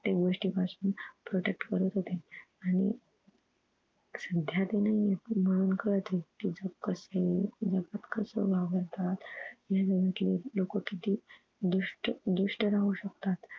प्रत्येक गोष्टी पासून protect करत होते आणि सध्या ते नाहीयेत म्हणून कळतंय कि जग कसय? जगात कशे वावरतात? म्हणजे जगातले लोकं किती दुष्ट दुष्ट राहू शकतात?